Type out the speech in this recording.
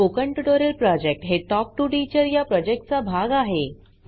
spoken tutorial project हे talk to teacher या प्रॉजेक्टचा भाग आहे